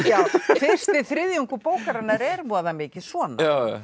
fyrsti þriðjungur bókarinnar er voða mikið svona